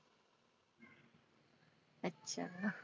अच्छा.